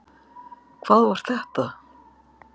Hvað var þetta?